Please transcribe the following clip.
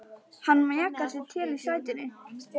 Hann mjakar sér til í sætinu.